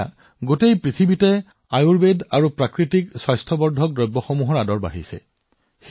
আজি সমগ্ৰ বিশ্বই আয়ুৰ্বেদ আৰু প্ৰাকৃতিক স্বাস্থ্য সামগ্ৰীৰ দৃষ্টি দিছে